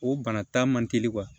O bana ta man teli wa